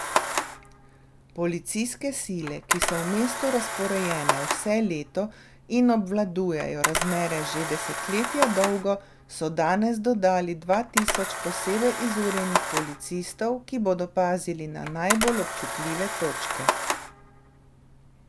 Policijske sile, ki so v mestu razporejene vse leto in obvladujejo razmere že desetletja dolgo, so danes dodali dva tisoč posebej izurjenih policistov, ki bodo pazili na najbolj občutljive točke.